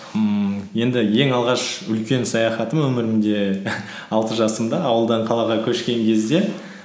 ммм енді ең алғаш үлкен саяхатым өмірімде алты жасымда ауылдан қалаға көшкен кезде